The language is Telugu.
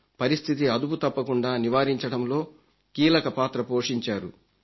పరిస్థితి అదుపుతప్పకుండా నివారించడంలో కీలక పాత్ర పోషించారు